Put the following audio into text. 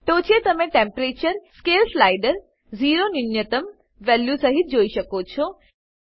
ટોંચે તમે Temperature scale slider zero ન્યૂનતમ value સહીત જોઈ શકો છો